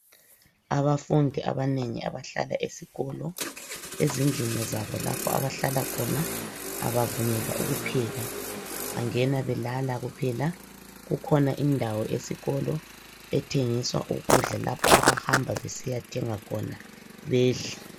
Abafundi abanengi abahlala esikolo, ezindlini zabo lapho abahlala khona abavunyelwa ukupheka, bangena belala kuphela kukhona indawo esikolo ethengisa ukudla lapho abahamba besiyathenga khona bedle.